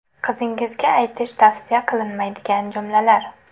Qizingizga aytish tavsiya qilinmaydigan jumlalar.